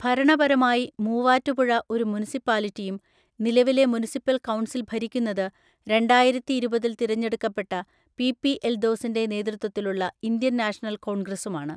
ഭരണപരമായി, മൂവാറ്റുപുഴ ഒരു മുനിസിപ്പാലിറ്റിയും നിലവിലെ മുനിസിപ്പൽ കൗൺസിൽ ഭരിക്കുന്നത് രണ്ടായിരത്തിഇരുപതിൽ തിരഞ്ഞെടുക്കപ്പെട്ട പി പി എൽദോസിൻ്റെ നേതൃത്വത്തിലുള്ള ഇന്ത്യൻ നാഷണൽ കോൺഗ്രസുമാണ്.